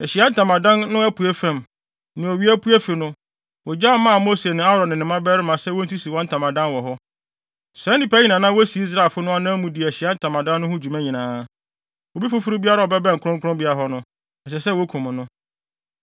Ahyiae Ntamadan no apuei fam, nea owia pue fi no, wogyaw maa Mose ne Aaron ne ne mmabarima sɛ wonsisi wɔn ntamadan wɔ hɔ. Saa nnipa yi na na wosi Israelfo no anan mu di Ahyiae Ntamadan no ho dwuma nyinaa. Obi foforo biara a ɔbɛbɛn kronkronbea hɔ no, ɛsɛ sɛ wokum no.